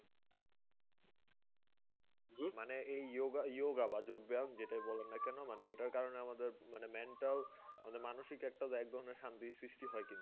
মানে এই yoga yoga বা যোগ ব্যায়াম যেটা বলেন না কেন? এটার মাধ্যমে মানে mental মানে মানসিক একটা একধরণের শান্তির সৃষ্টি হয় কিন্তু।